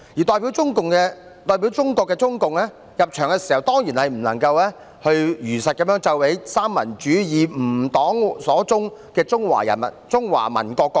代表中國的中共入場時，當然不能如實奏起"三民主義，吾黨所宗"的中華民國國歌。